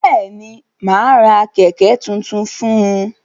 Bẹ́ẹ̀ni, mà á ra kẹ̀ẹ̀kẹ́ tuntun fún un.